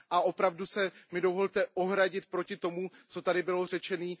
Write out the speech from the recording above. A opravdu mi dovolte ohradit se proti tomu, co tady bylo řečeno.